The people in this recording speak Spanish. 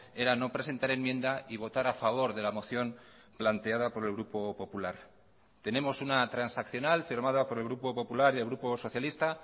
era no presentar enmienda y votar a favor de la moción planteada por el grupo popular tenemos una transaccional firmada por el grupo popular y el grupo socialista